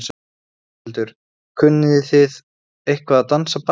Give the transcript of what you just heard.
Þórhildur: Kunnið þið eitthvað að dansa ballett?